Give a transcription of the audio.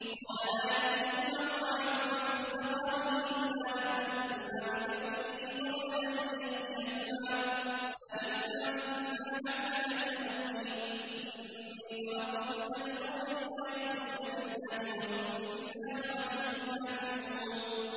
قَالَ لَا يَأْتِيكُمَا طَعَامٌ تُرْزَقَانِهِ إِلَّا نَبَّأْتُكُمَا بِتَأْوِيلِهِ قَبْلَ أَن يَأْتِيَكُمَا ۚ ذَٰلِكُمَا مِمَّا عَلَّمَنِي رَبِّي ۚ إِنِّي تَرَكْتُ مِلَّةَ قَوْمٍ لَّا يُؤْمِنُونَ بِاللَّهِ وَهُم بِالْآخِرَةِ هُمْ كَافِرُونَ